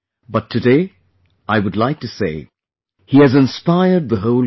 But today I would like to say he has inspired the whole country